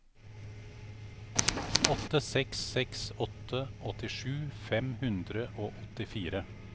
åtte seks seks åtte åttisju fem hundre og åttifire